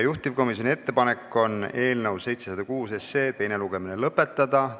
Juhtivkomisjoni ettepanek on eelnõu 706 teine lugemine lõpetada.